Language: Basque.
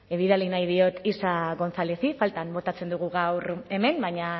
bidali nahi diot isa gonzálezi faltan botatzen dugu gaur hemen baina